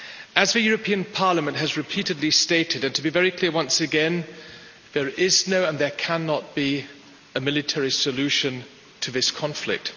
As the European Parliament has repeatedly stated and to be very clear once again there is no, and there cannot be, a military solution to this conflict.